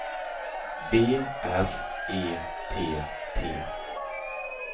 B R E T T